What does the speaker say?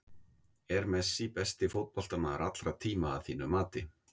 Er Messi besti fótboltamaður allra tíma að þínu mati?